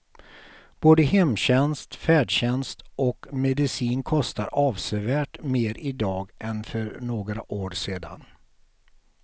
Både hemtjänst, färdtjänst och medicin kostar avsevärt mer i dag än för några år sedan.